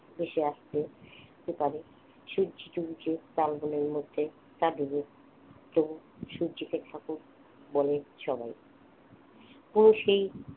ভেসে আসছে এপারে সূর্যি ডুবছে চাল গুলোর মধ্যে তা ডুবুক তবু সূর্যি ঠাকুর বলেন সবাই পুরো সেই